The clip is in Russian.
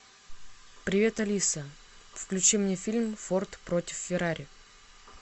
привет алиса включи мне фильм форд против феррари